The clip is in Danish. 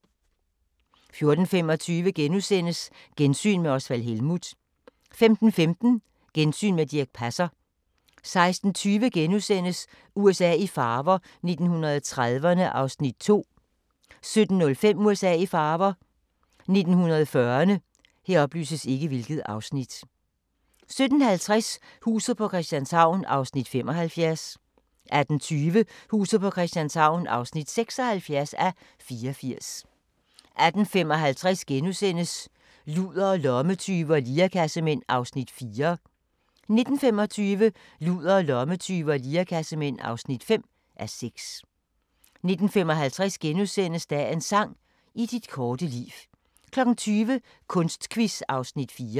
14:25: Gensyn med Osvald Helmuth * 15:15: Gensyn med Dirch Passer 16:20: USA i farver – 1930'erne (2:5)* 17:05: USA i farver – 1940'erne 17:50: Huset på Christianshavn (75:84) 18:20: Huset på Christianshavn (76:84) 18:55: Ludere, lommetyve og lirekassemænd (4:6)* 19:25: Ludere, lommetyve og lirekassemænd (5:6) 19:55: Dagens sang: I dit korte liv * 20:00: Kunstquiz (Afs. 4)